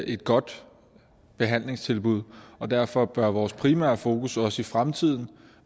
et godt behandlingstilbud og derfor bør vores primære fokus også i fremtiden